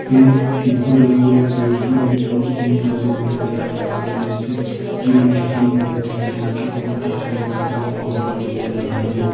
एक कीपर है और एक बैट्समैन है और तीन गल्ले भी नजर आ रही है जिनसे जिन्हें स्तंभ कहते हैं जिनके बॉल टच होने पर वह आउट मान लिया जाता है।